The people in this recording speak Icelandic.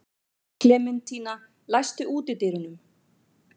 Klementína, læstu útidyrunum.